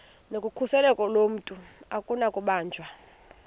nokhuseleko lomntu akunakubanjwa